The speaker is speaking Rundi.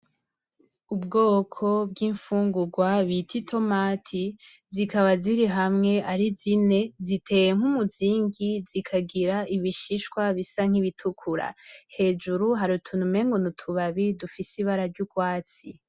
Ubwoko bw'infugurwa bita itomati Zikaba zirihamwe arizine zitiwe nk'umuzingi zikagira ibishishwa bisa nk'ibitukura, hejuru harutuntu umenga n'utubabi tufise ibara ry'ubwatsi.